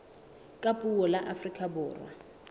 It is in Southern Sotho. ka puo la afrika borwa